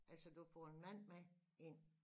Altså du får en mand med ind